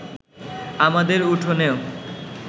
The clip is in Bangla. আমাদের উঠোনেও